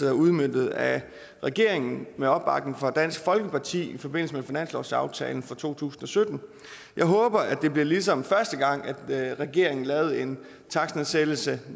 er udmøntet af regeringen med opbakning fra dansk folkeparti i forbindelse med finanslovsaftalen for to tusind og sytten jeg håber det bliver ligesom første gang at regeringen lavede en takstnedsættelse